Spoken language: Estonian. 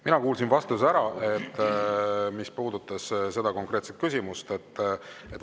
Mina kuulsin vastuse ära, mis puudutas seda konkreetset küsimust.